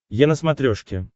е на смотрешке